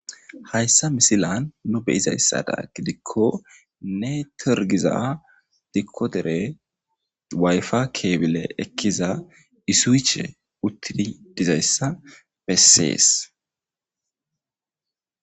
hayssa misilan nu beyizayssada gidikko ne tergiza dikkodere wayfa keebile ekkiza isuiche uttidi dizayssa bessees